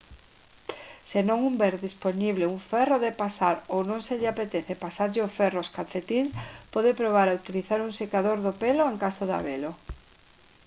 se non houber dispoñible un ferro de pasar ou se non lle apetece pasarlle o ferro aos calcetíns pode probar a utilizar un secador do pelo en caso de habelo